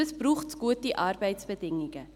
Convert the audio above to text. Dazu braucht es gute Arbeitsbedingungen.